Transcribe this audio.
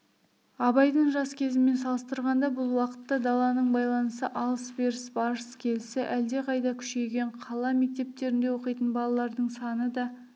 абайдың жас кезімен салыстырғанда бұл уақытта даланың байланысы алыс-беріс барыс-келісі әлдеқайда күшейген қала мектептерінде оқитын балалардың саны да